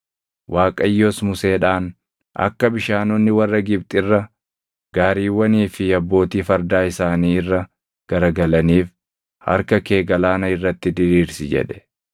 Waaqayyos Museedhaan, “Akka bishaanonni warra Gibxi irra, gaariiwwanii fi abbootii fardaa isaanii irra garagalaniif harka kee galaana irratti diriirsi” jedhe.